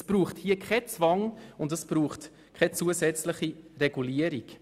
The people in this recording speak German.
Hier braucht es keinen Zwang und keine zusätzliche Regulierung.